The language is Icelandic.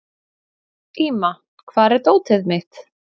Íma, hvar er dótið mitt?